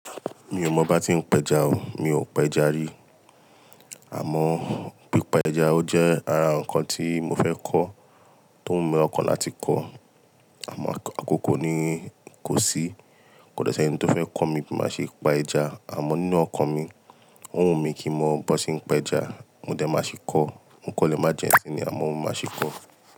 Mi ò mọ bá tí ń pẹja o, mi ò pẹja rí. Àmọ́ pípa ẹja ó jẹ́ ara nǹkan tí mo fẹ́ kọ́ tó wu mi lọkàn láti kọ́. Àmọ́ àkókò ni kò sí, kò dẹ́ si ẹni tó fẹ́ kọ́ mi bí máa ṣe pa ẹja. Àmọ́ nínú ọkàn mi, ó wù mí kí n mọ bọn ṣe ń pẹja, mo dẹ máa ṣi kọ́. O kan lé májẹ̀ nsín ni àmọ́ mo máa ṣi kọ́.